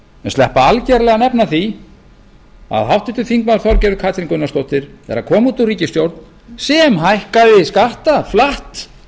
sleppa algerlega að nefna það að háttvirtur þingmaður þorgerður katrín gunnarsdóttir er að koma út úr ríkisstjórn sem hækkaði skatta flatt